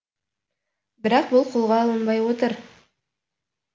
бірақ бұл қолға алынбай отыр